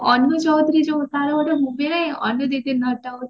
ଅନୁ ଚୌଧୁରୀ ତାର ଗୋଟେ movie ନାହିଁ